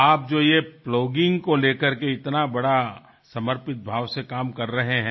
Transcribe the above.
आप जो ये प्लॉगिंग को लेकर के इतना बड़ा समर्पित भाव से काम कर रहे हैं